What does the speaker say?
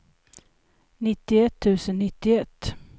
nittioett tusen nittioett